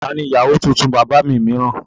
Ta ni ìyàwó tuntun bàbá mi mìíràn?